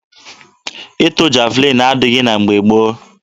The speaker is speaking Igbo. Ịtụ javalin adịghị na mgbe gboo.